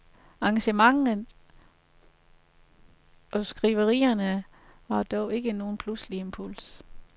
Engagementet og skriverierne var dog ikke nogen pludselig impuls.